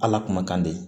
Ala kuma kan de